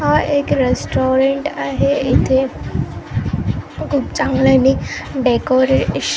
हा एक रेस्टॉरंट आहे इथे खूप चांगलेनी डेकोरेशन --